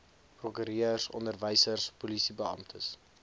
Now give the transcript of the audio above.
prokureurs onderwysers polisiebeamptes